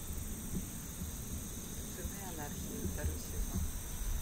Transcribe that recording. сыны анархии второй сезон